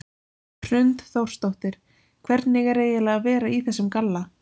Hrund Þórsdóttir: Hvernig er eiginlega að vera í þessum galla?